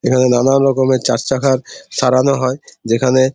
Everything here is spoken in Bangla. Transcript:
এইখানে নানান রকমের চারচাকার সরানো হয় যেখানে--